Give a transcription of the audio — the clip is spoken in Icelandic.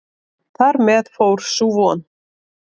Þar með fór sú von.